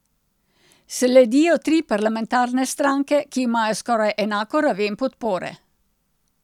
Sledijo tri parlamentarne stranke, ki imajo skoraj enako raven podpore.